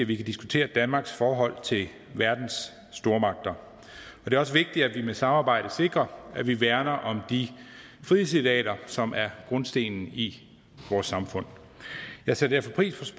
vi kan diskutere danmarks forhold til verdens stormagter det er også vigtigt at vi med samarbejdet sikrer at vi værner om de frihedsidealer som er grundstenen i vores samfund jeg sætter derfor pris